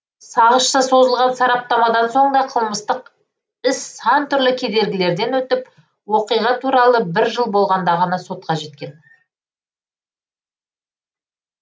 сағызша созылған сараптамадан соң да қылмыстық іс сан түрлі кедергілерден өтіп оқиға тура бір жыл болғанда ғана сотқа жеткен